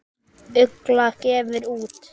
Ugla gefur út.